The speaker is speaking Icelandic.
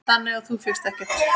Þannig að þú fékkst ekkert?